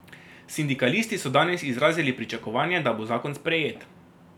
Sindikalisti so danes izrazili pričakovanje, da bo zakon sprejet.